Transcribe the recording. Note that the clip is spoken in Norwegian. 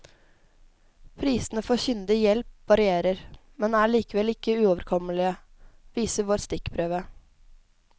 Prisene for kyndig hjelp varierer, men er likevel ikke uoverkommelige, viser vår stikkprøve.